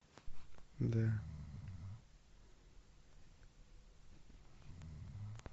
да